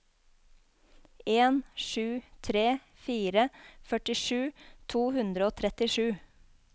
en sju tre fire førtisju to hundre og trettisju